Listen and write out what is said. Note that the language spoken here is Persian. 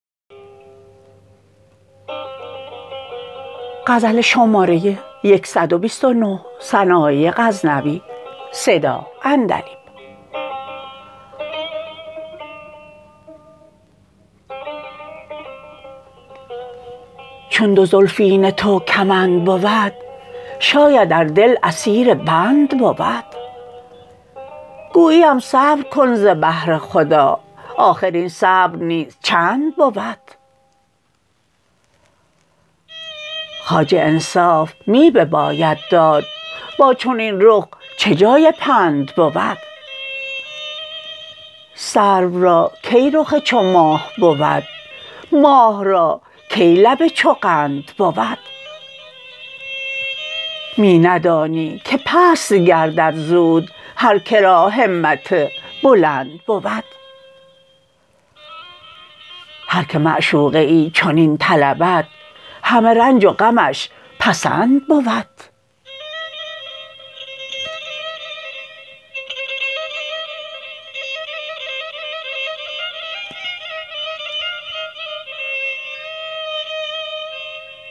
چون دو زلفین تو کمند بود شاید ار دل اسیر بند بود گوییم صبر کن ز بهر خدا آخر این صبر نیز چند بود خواجه انصاف می بباید داد با چنین رخ چه جای پند بود سرو را کی رخ چو ماه بود ماه را کی لب چو قند بود می ندانی که پست گردد زود هر کرا همت بلند بود هر که معشوقه ای چنین طلبد همه رنج و غمش پسند بود